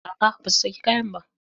A'a ba su saki kayan ba.